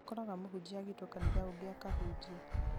nĩũkoraga mũhunjia agĩtwo kanitha ũngĩ akahunjie